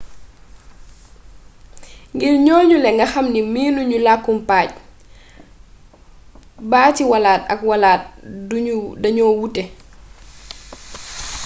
ngir ñooñule nga xam ne miinu ñu làkkum pajj baati wàllaate ak wàllaate dañoo wute